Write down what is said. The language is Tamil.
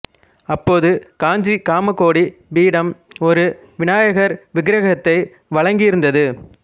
அப்போது காஞ்சி காமகோடி பீடம் ஒரு விநாயகர் விக்கிரகத்தை வழங்கியிருந்தது